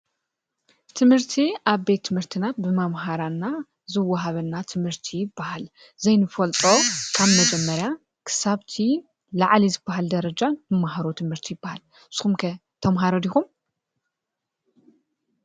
ትምህርቲ አብ ቤት ትምህርቲና ብመምሃራንና ዝወሃበና ትምህርቲ ይበሃል። ዘይንፈልጦ ካብ መጀመርያ ክሳብ እቲ ላዕሊ ዝበሃል ደረጃ ንመሃሮ ትምህርቲ ይበሃል። ንስኩም ከ ተመሃሮ ዲኹም ?